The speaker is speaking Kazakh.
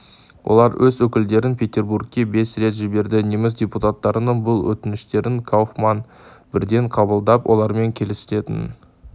олар өз өкілдерін петербургке бес рет жіберді неміс депутаттарының бұл өтініштерін кауфман бірден қабылдап олармен келісетінін